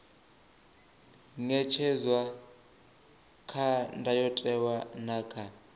ṅetshedzwa kha ndayotewa na kha